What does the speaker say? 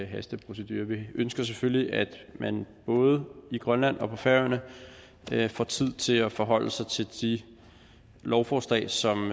hasteprocedurer vi ønsker selvfølgelig at man både i grønland og på færøerne får tid til at forholde sig til de lovforslag som